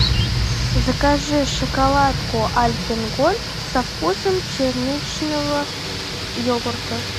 закажи шоколадку альпен гольд со вкусом черничного йогурта